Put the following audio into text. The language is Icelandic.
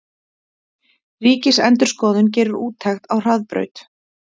Ríkisendurskoðun gerir úttekt á Hraðbraut